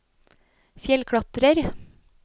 fjellklatrer